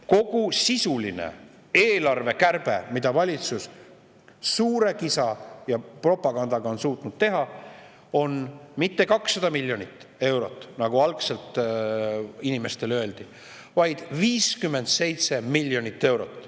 Kogu sisuline eelarvekärbe, mida valitsus suure kisa ja propagandaga on suutnud teha, on mitte 200 miljonit eurot, nagu algselt inimestele öeldi, vaid 57 miljonit eurot.